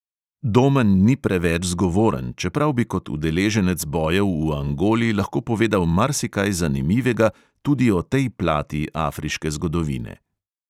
Domen ni preveč zgovoren, čeprav bi kot udeleženec bojev v angoli lahko povedal marsikaj zanimivega tudi o tej plati afriške zgodovine.